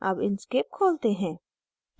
अब inkscape खोलते हैं